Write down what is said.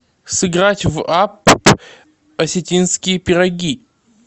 сыграть в апп осетинские пироги